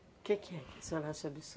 O que que é que a senhora acha um